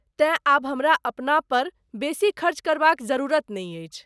तेँ ,आब हमरा अपना पर बेसी खर्च करबाक जरुरत नहि अछि।